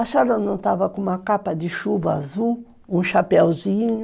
A senhora não estava com uma capa de chuva azul, um chapéuzinho.